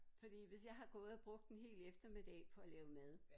Fordi hvis jeg har gået og brugt en hel eftermiddag på at lave mad